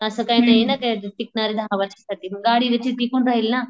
असं काही नाही ना ते टिकणारे दहा वर्षासाठी, गाडी कशी टिकून राहील ना.